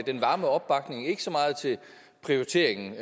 den varme opbakning ikke så meget til prioriteringen